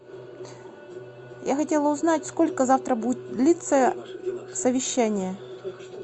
я хотела узнать сколько завтра будет длиться совещание